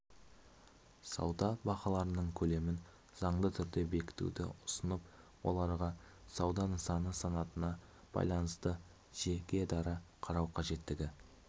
сауда бағаларының көлемін заңды түрде бекітуді ұсынып оларға сауда нысаны санатына байланысты жекедара қарау қажеттігі